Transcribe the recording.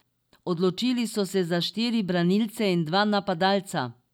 Odločili so se za štiri branilce in dva napadalca.